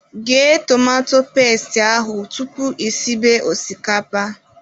Ghee tomato pestị ahụ tupu I sibe osikapa